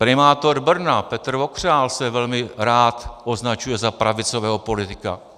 Primátor Brna Petr Vokřál se velmi rád označuje za pravicového politika.